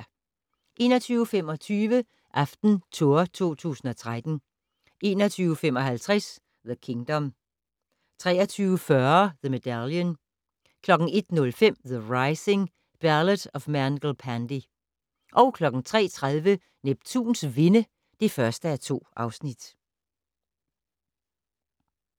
21:25: AftenTour 2013 21:55: The Kingdom 23:40: The Medallion 01:05: The Rising: Ballad of Mangal Pandey 03:30: Neptuns vinde (1:2)